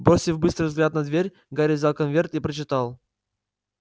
бросив быстрый взгляд на дверь гарри взял конверт и прочитал